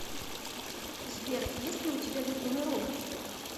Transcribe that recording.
сбер есть ли у тебя любимый робот